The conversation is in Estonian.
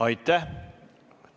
Aitäh!